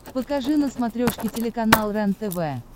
покажи на смотрешке телеканал рентв